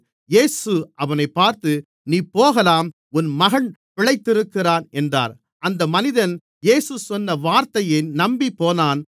இயேசு அவனைப் பார்த்து நீ போகலாம் உன் மகன் பிழைத்திருக்கிறான் என்றார் அந்த மனிதன் இயேசு சொன்ன வார்த்தையை நம்பிப்போனான்